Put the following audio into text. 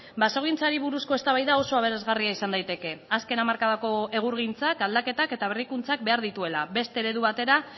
basogintzari buruzko eztabaida oso aberasgarria izan daiteke azken hamarkadako egurgintzak aldaketak eta berrikuntzak behar dituela beste eredu batera